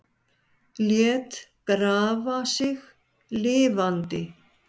Lét grafa sig lifandi